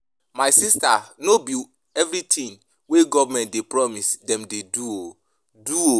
My sista no be everytin wey government dey promise dem dey do o. do o.